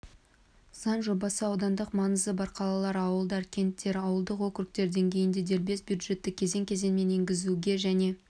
заң жобасы аудандық маңызы бар қалалар ауылдар кенттер ауылдық округтер деңгейінде дербес бюджетті кезең-кезеңмен енгізуге және